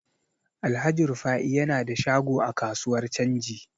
Alhaji Rufa'i yana da shago a kasuwar canji.